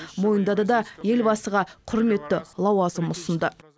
мойындады да елбасыға құрметті лауазым ұсынды